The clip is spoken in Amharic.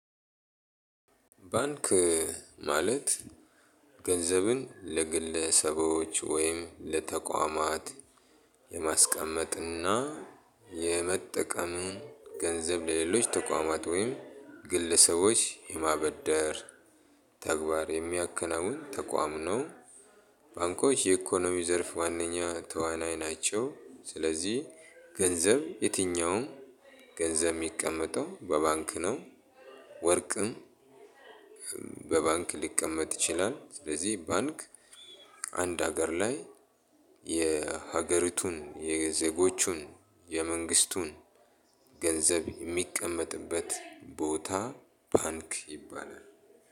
ባንክ ማለት ገንዘብን ለግለሰቦች ወይም ለተቋማት የማስቀመጥ እና የመጠቀምን ገንዘብ ለሌሎች ተቋማት ወይም ግለሰቦች የማበደር ተግባር የሚያከናውን ተቋም ነው። ባንኮች የኢኮኖሚ ዘርፍ ዋነኛ ተዋናይ ናቸው። ስለዚህ ገንዘብ የትኛውም ገንዘብ የሚቀመጠው በባንክ ነው። ወርቅም በባንክ ሊቀመጥ ይቻላል። ስለዚህ ባንክ አንድ አገር ላይ የሀገሪቱን የዜጎቹን የመንግስቱን ገንዘብ የምቀመጥበት ቦታ ባንክ ይባላል።